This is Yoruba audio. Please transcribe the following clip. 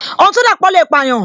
Ohun to dapo le payan